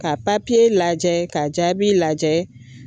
Ka lajɛ ka jaabi lajɛ.